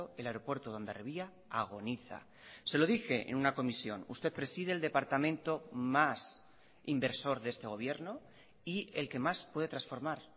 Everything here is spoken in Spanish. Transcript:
el aeropuerto de hondarribia agoniza se lo dije en una comisión usted preside el departamento más inversor de este gobierno y el que más puede transformar